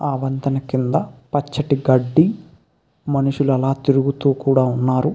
ఆ వంతెన కింద పచ్చటి గడ్డి మనుషులు అలా తిరుగుతూ కూడ ఉన్నారు.